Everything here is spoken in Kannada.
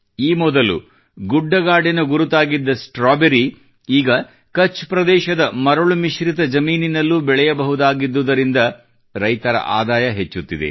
ಈ ಮೊದಲು ಗುಡ್ಡಗಾಡಿನ ಗುರುತಾಗಿದ್ದ ಸ್ಟ್ರಾಬೆರಿ ಈಗ ಕಛ್ ಪ್ರದೇಶದ ಮರುಳುಮಿಶ್ರಿತ ಜಮೀನಿನಲ್ಲೂ ಬೆಳೆಯಬಹುದಾಗಿದ್ದುದರಿಂದ ರೈತರ ಆದಾಯ ಹೆಚ್ಚುತ್ತಿದೆ